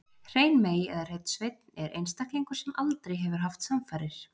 Hrein mey eða hreinn sveinn er einstaklingur sem aldrei hefur haft samfarir.